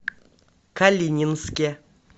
калининске